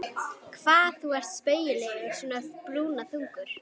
Hvað þú ert spaugilegur svona brúnaþungur!